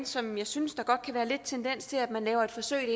som jeg synes der godt kan være lidt tendens til at man laver et forsøg det